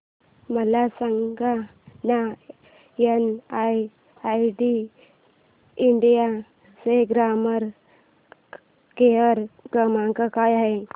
मला सांगाना NIIT India चा कस्टमर केअर क्रमांक काय आहे